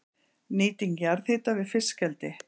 Nýting jarðhita við fiskeldi